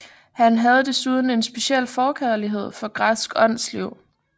Han havde desuden en speciel forkærlighed for græsk åndsliv